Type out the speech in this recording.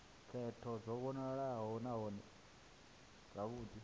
khetho dzo vhofholowaho nahone dzavhudi